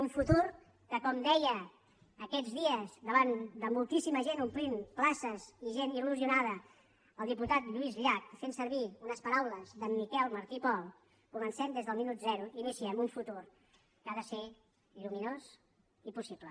un futur que com deia aquests dies davant de moltíssima gent que omplien places gent il·lusionada el diputat lluís llach fent servir unes paraules d’en miquel martí i pol comencem des del minut zero i iniciem un futur que ha de ser lluminós i possible